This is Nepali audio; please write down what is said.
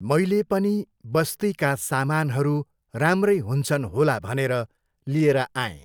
मैले पनि बस्तीका सामानहरू राम्रै हुन्छन् होला भनेर लिएर आएँ।